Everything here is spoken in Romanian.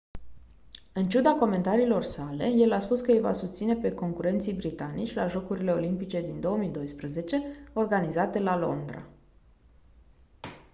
în ciuda comentariilor sale el a spus că îi va susține pe concurenții britanici la jocurile olimpice din 2012 organizate la londra